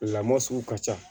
Lamɔ sugu ka ca